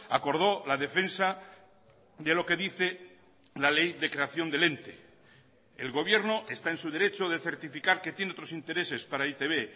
acordó la defensa de lo que dice la ley de creación del ente el gobierno está en su derecho de certificar que tiene otros intereses para e i te be